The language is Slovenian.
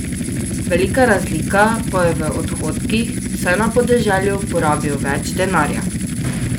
Velika razlika pa je v odhodkih, saj na podeželju porabijo več denarja.